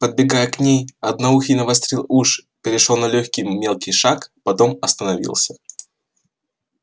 подбегая к ней одноухий навострил уши перешёл на лёгкий мелкий шаг потом остановился